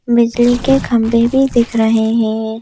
बिजली के खंबे भी दिख रहे हैं।